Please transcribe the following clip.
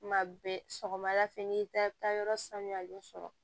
Tuma bɛɛ sɔgɔmada fɛ n'i taara yɔrɔ sanuyalen sɔrɔ